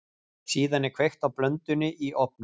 Síðan er kveikt í blöndunni í ofni.